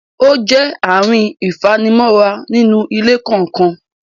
ó jẹ́ ààrin ìfanimọ́ra nínú ilé kọ̀ọ̀kan.